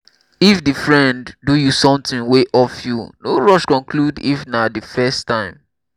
if di friend do you something wey off you no rush conclude if na di first time